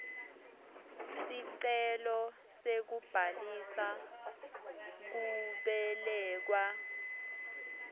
sicelo sekubhalisa kubelekwa